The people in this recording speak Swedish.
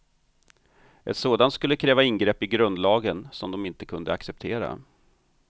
Ett sådant skulle kräva ingrepp i grundlagen som de inte kunde acceptera.